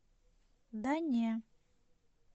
да не